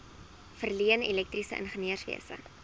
verleen elektriese ingenieurswese